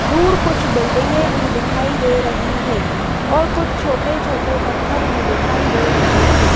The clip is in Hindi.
दूर कुछ बिल्डिंगे भी दिखाई दे रही है और कुछ छोटे छोटे पत्थर भी दिखाई दे रहे हैं।